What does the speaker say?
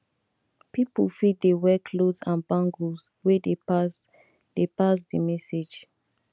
pipo fit de wear clothes and bangles wey de pass de pass di message